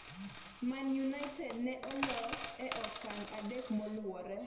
Man United ne olo e okang' adek moluwore